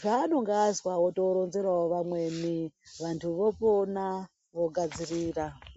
zvaanonga azwa otoronzerawo vamweni, vantu vopona, vogadzirira.